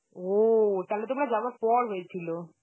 ও তাহলে তোমার যাওয়ার পর হয়েছিল.